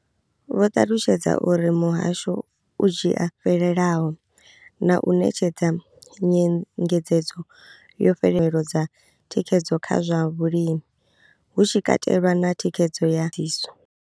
Vho ṱalutshedza uri muhasho u dzhia fhelelaho na u ṋetshedza nyengedzedzo yo thikhedzo kha zwa vhulimi, hu tshi katelwa na thikhedzo yadziso.